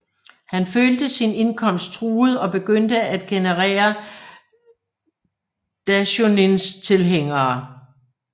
Han følte sin indkomst truet og begyndte at genere Daishonins tilhængere